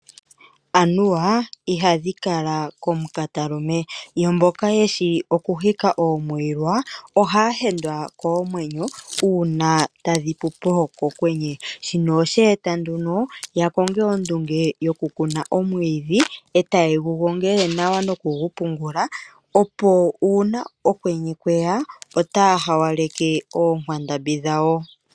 Anuwa, ihadhi kala komukatalume, yo mboka yeshi oku hika oomwilwa, ohaya hendwa koomwenyo uuna tadhi pupo kokwenye. Oshinima shino oshe e ta nduno ya konge ondunge yoku kuna omwiidhi, e taye gu gongele nawa noku gu pungula, opo uuna okwenye kweya, otaya hawaleke oonkwandambi dhawo.